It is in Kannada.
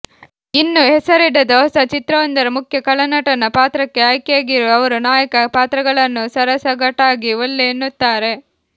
ಇನ್ನೂ ಹೆಸರಿಡದ ಹೊಸ ಚಿತ್ರವೊಂದರ ಮುಖ್ಯ ಖಳನಟನ ಪಾತ್ರಕ್ಕೆ ಆಯ್ಕೆಯಾಗಿರುವ ಅವರು ನಾಯಕ ಪಾತ್ರಗಳನ್ನು ಸಾರಾಸಗಟಾಗಿ ಒಲ್ಲೆ ಎನ್ನುತ್ತಾರೆ